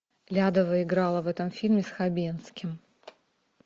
лядова играла в этом фильме с хабенским